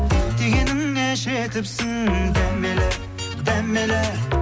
дегеніңе жетіпсің дәмелі дәмелі